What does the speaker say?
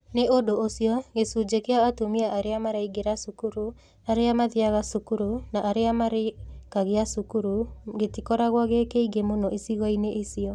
Nĩ ũndũ ũcio, gĩcunjĩ kĩa atumia arĩa maraingĩra cukuru, arĩa mathiaga cukuru, na arĩa marĩkagia cukuru gĩtikoragwo gĩ kĩingĩ mũno icigo-inĩ icio.